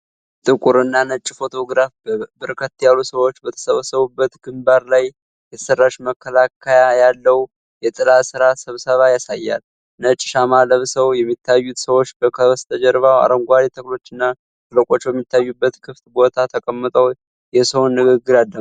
ይህ ጥቁር እና ነጭ ፎቶግራፍ በርከት ያሉ ሰዎች በተሰባሰቡበት ግምባር ላይ የተሠራች መከለያ ያለውን የጥላ ሥር ስብሰባ ያሳያል። ነጭ ሻማ ለብሰው የሚታዩት ሰዎች ከበስተጀርባው አረንጓዴ ተክሎችና ሸለቆው በሚታይበት ክፍት ቦታ ተቀምጠው የሰውን ንግግር ያዳምጣሉ።